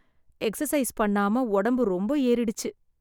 exercise பண்ணாம உடம்பு ரொம்ப ஏறிடுச்சு